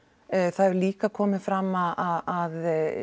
það hefur líka komið fram að að